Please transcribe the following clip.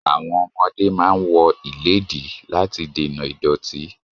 Àwọn ọmọdé máa ń wọ ìledtí láti dènà ìdọ̀tí